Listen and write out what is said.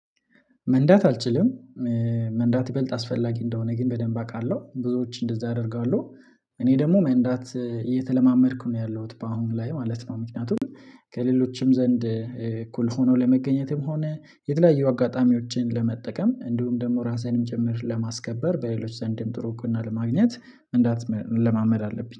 መንዳት አልችልም መንዳት በልጥ አስፈላጊ እንደሆነ ግን በደንብ አውቃለሁ ብዙዎች እንደዛ ያደርጋለሁ፤። እኔ ደግሞ መንዳት እየተለማመድኩ ነው ያለሁት በአሁን ላይ ማለት ነው፤። ምክንያቱም ከሌሎችም ዘንድ እኩል ሆኖ ለመገኘትም ሆነ የተለያየ አጋጣሚዎችን ለመጠቀም እንዲሁም ደግሞ ራስህንም ጭምር ለማስከበር በሌሎች ዘንድም ጥሩ እውቅና ለማግኘት እንዳት ለማመድ አለብኝ